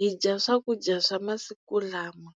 hi dya swakudya swa masiku lama.